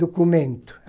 documento.